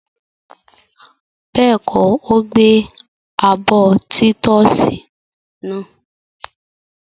Bẹ́ẹ̀kọ́, ó gbẹ abọ́ títọ́sì náà.